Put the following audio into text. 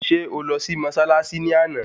Ṣé ó lọ sí mọ́ṣáláṣí ní àná?